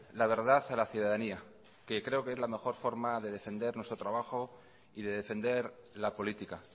la verdad a la ciudadanía que creo que es la mejor forma de defender nuestro trabajo y de defender la política